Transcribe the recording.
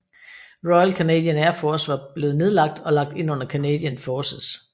Royal Canadian Air Force var blevet nedlagt og lagt ind under Canadian Forces